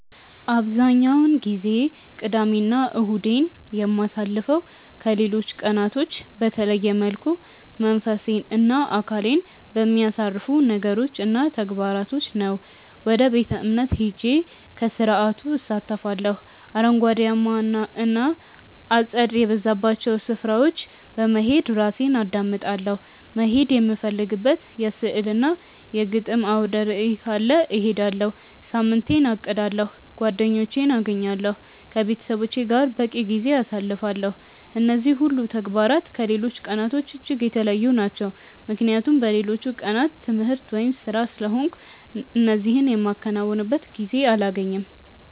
አብዛኛውን ጊዜ ቅዳሜ እና እሁዴን የማሳልፈው ከሌሎች ቀናቶች በተለየ መልኩ መንፈሴን እና አካሌን በሚያሳርፉ ነገሮች እና ተግባራቶች ነው። ወደ ቤተ-እምነት ሄጄ ከስርዓቱ እሳተፋለሁ፤ አረንጓዴያማ እና አጸድ የበዛባቸው ስፍራዎች በመሄድ ራሴን አዳምጣለሁ፤ መሄድ የምፈልግበት የሥዕል እና የግጥም አውደርዕይ ካለ እሄዳለሁ፤ ሳምንቴን አቅዳለሁ፤ ጓደኞቼን አገኛለሁ፤ ከቤተሰቦቼ ጋር በቂ ጊዜ አሳልፋለሁ። እነዚህ ሁሉ ተግባራት ከሌሎች ቀናቶች እጅግ የተለዩ ናቸው ምክንያቱም በሌሎቹ ቀናት ትምህርት ወይም ስራ ስለሆንኩ እነዚህ የማከናውንበት ጊዜ አላገኝም።